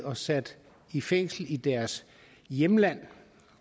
og sat i fængsel i deres hjemland